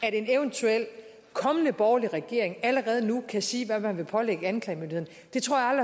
at en eventuel kommende borgerlig regering allerede nu kan sige hvad man vil pålægge anklagemyndigheden det tror jeg